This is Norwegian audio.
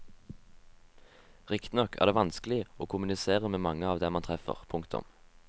Riktignok er det vanskelig å kommunisere med mange av dem man treffer. punktum